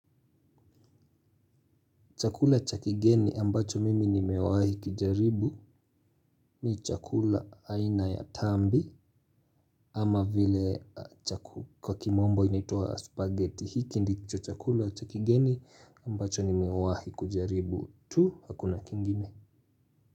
Chakula chakigeni ambacho mimi nimewahi kijaribu ni chakula aina ya tambi ama vile kwa kimombo inaitwa spaghetti hiki ndicho chakula chakigeni ambacho nimewahi kujaribu tu hakuna kingine.